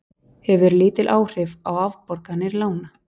Hefur lítil áhrif á afborganir lána